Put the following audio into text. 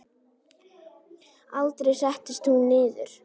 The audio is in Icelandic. Aldrei settist hún niður.